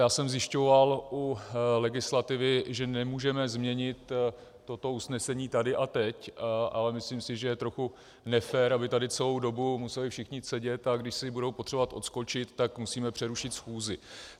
Já jsem zjišťoval u legislativy, že nemůžeme změnit toto usnesení tady a teď, ale myslím si, že je trochu nefér, aby tady celou dobu museli všichni sedět, a když si budou potřebovat odskočit, tak musíme přerušit schůzi.